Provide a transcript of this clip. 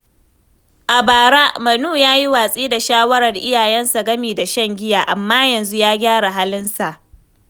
A bara, Manu ya yi watsi da shawarar iyayensa game da shan giya, amma yanzu ya gyara halinsa.